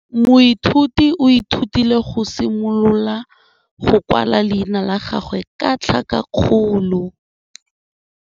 Moithuti o ithutile go simolola go kwala leina la gagwe ka tlhakakgolo.